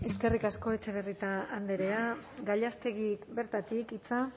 eskerrik asko etxebarrieta andrea gallástegui bertatik hitza